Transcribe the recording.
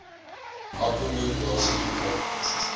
akkommo dasie gekry